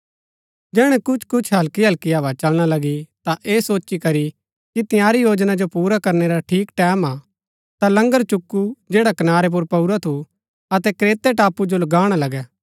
जैहणै कुछ कुछ हल्की हल्की हवा चलना लगी ता ऐह सोची करी कि तंयारी योजना जो पुरा करनै रा ठीक टैमं हा ता लंगर चुकु जैडा कनारै पुर पाऊरा थु अतै क्रेते टापू जो गाणा लगै